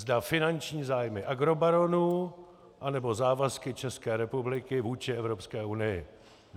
Zda finanční zájmy agrobaronů, anebo závazky České republiky vůči Evropské unii.